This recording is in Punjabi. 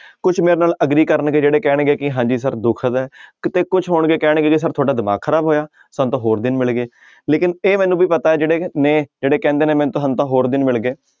ਕੁਛ ਮੇਰੇ ਨਾਲ agree ਕਰਨਗੇ ਜਿਹੜੇ ਕਹਿਣਗੇ ਕਿ ਹਾਂਜੀ ਸਰ ਦੁਖਦ ਕਿਤੇ ਕੁਛ ਹੋਣਗੇ ਕਹਿਣਗੇ ਕਿ ਸਰ ਤੁਹਾਡਾ ਦਿਮਾਗ ਖ਼ਰਾਬ ਹੋਇਆ ਸਾਨੂੰ ਤਾਂ ਹੋਰ ਦਿਨ ਮਿਲ ਗਏ ਲੇਕਿੰਨ ਇਹ ਮੈਨੂੰ ਵੀ ਪਤਾ ਹੈ ਜਿਹੜੇ ਨੇ ਜਿਹੜੇ ਕਹਿੰਦੇ ਨੇ ਸਾਨੂੰ ਤਾਂ ਹੋਰ ਦਿਨ ਮਿਲ ਗਏ।